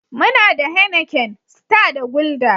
Muna da Heineken, Star da Guldar.